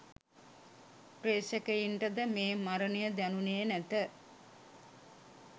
ප්‍රේක්ෂකයින්ට ද මේ මරණය දැනුණේ නැත.